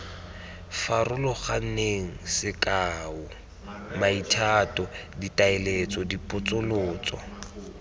farologaneng sekao maitato ditaletso dipotsolotso